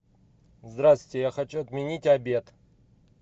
здравствуйте я хочу отменить обед